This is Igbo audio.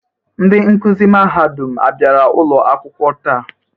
Ndị nkuzi mahadum abịara ụlọ akwụkwọ taa?